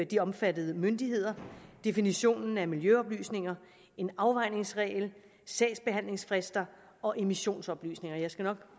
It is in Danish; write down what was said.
de omfattede myndigheder definitionen af miljøoplysninger en afvejningsregel sagsbehandlingsfrister og emissionsoplysninger jeg skal nok